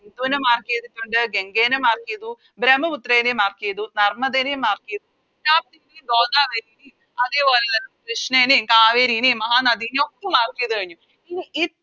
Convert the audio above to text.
സിന്ധുനെ Mark ചെയ്തിട്ടുണ്ട് ഗംഗേനെ Mark ചെയ്തു ബ്രഹ്മപുത്രനേം Mark ചെയ്തു നർമ്മദനേം Mark ചെയ്തു താപ്തി ഗോദാവരി അതേപോലെ തന്നെ കൃഷ്ണേനേം കാവേരിനേം മഹാനദിനേം ഒക്കെ Mark ചെയ്ത കഴിഞ്ഞു ഇനി